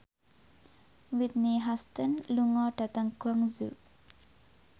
Whitney Houston lunga dhateng Guangzhou